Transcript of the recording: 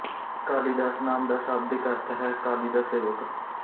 ਕਾਲੀਦਾਸ ਨਾਮ ਦਾ ਸ਼ਾਬਦਿਕ ਅਰਥ ਹੈ ਕਾਲੀ ਦਾ ਸੇਵਕ